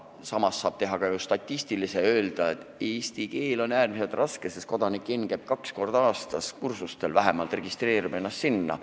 Samas saab teha ka statistikat ja öelda, et eesti keel on äärmiselt raske, sest kodanik N käib kaks korda aastas kursustel, vähemalt registreerib ennast sinna.